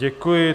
Děkuji.